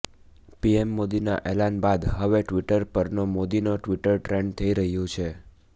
PM મોદીના એલાન બાદ હવે ટ્વિટર પર no Modi no Twitter trend થઈ રહ્યુ છે